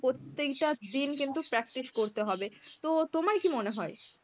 প্রত্যেকটা দিন কিন্তু practice করতে হবে. তো তোমার কী মনে হয়?